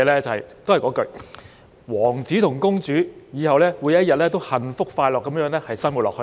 都是那一句：王子和公主以後每天都幸福快樂地生活下去。